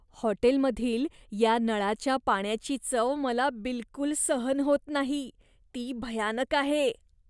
हॉटेलमधील या नळाच्या पाण्याची चव मला बिलकुल सहन होत नाही, ती भयानक आहे.